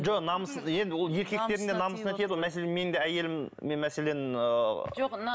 жоқ намыс енді ол еркектердің де намысына тиеді ғой мәселен менің де әйелім мен мәселен ы жоқ